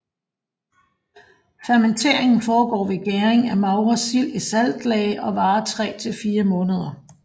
Fermenteringen foregår ved gæring af magre sild i saltlage og varer 3 til 4 måneder